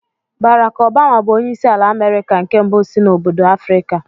Bárákk Ọbama bù onyeisi ala Amerika nke mbụ si n'obodo Afrịka